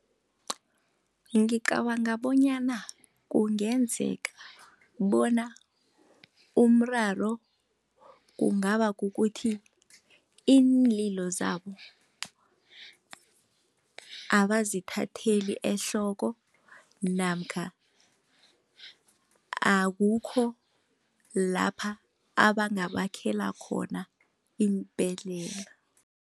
Ngicabanga bonyana kungenzeka bona umraro kungaba kukuthi iinlilo zabo abazithatheli ehloko namkha, akukho lapha abangabakhela khona iimbhedlela.